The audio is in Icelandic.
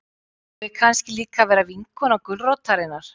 Á ég kannski líka að vera vinkona gulrótarinnar?